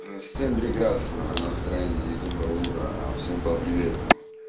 всем прекрасного настроения и доброго утра всем по привету